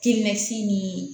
K'i mɛsi ni